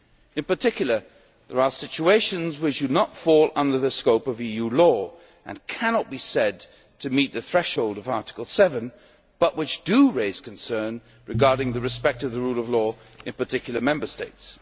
In particular, there are situations which do not fall under the scope of EU law and cannot be said to meet the threshold of Article 7, but which do raise concern regarding the respect of the rule of law in particular Member States.